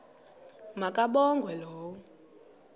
ma kabongwe low